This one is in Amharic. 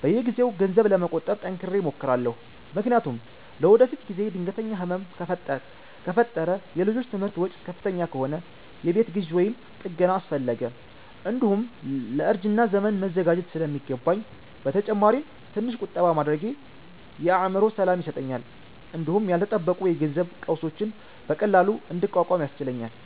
በየጊዜው ገንዘብ ለመቆጠብ ጠንክሬ እሞክራለሁ፤ ምክንያቱም ለወደፊት ጊዜ ድንገተኛ ህመም ከፈጠረ፣ የልጆች ትምህርት ወጪ ከፍተኛ ከሆነ፣ የቤት ግዢ ወይም ጥገና አስፈለገ፣ እንዲሁም ለእርጅና ዘመን መዘጋጀት ስለሚገባኝ ነው። በተጨማሪም ትንሽ ቁጠባ ማድረጌ የአእምሮ ሰላም ይሰጠኛል እንዲሁም ያልተጠበቁ የገንዘብ ቀውሶችን በቀላሉ እንድቋቋም ያስችለኛል